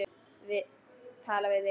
Tala við þig.